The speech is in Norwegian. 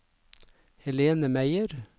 Helene Meyer